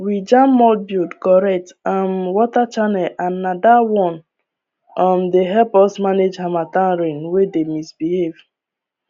we jam mud build correct um water channel and na that one um dey help us manage harmattan rain wey dey misbehave